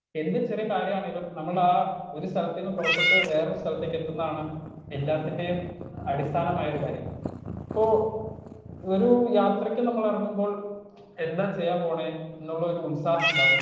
Speaker 1 എന്ത് ചെറിയ കാര്യാണെങ്കിലും നമ്മളാ ഒരു സ്ഥലത്തിന്ന് പൊറപ്പെട്ട് വേറൊരു സ്ഥലത്തേക്കെത്തുന്നതാണ് എല്ലാത്തിന്റെയും അടിസ്ഥാനമായൊരു കാര്യം ഇപ്പൊ ഒരു യാത്രക്ക് നമ്മൾ എറങ്ങുമ്പോൾ എന്താ ചെയ്യാൻ പോണേ എന്നുള്ളൊരു ഉത്സാഹണ്ടാകും.